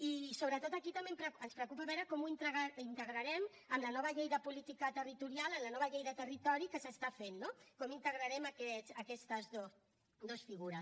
i sobretot aquí també ens preocupa veure com ho integrarem en la nova llei de política territorial en la nova llei de territori que s’està fent no com integrarem aquestes dos figures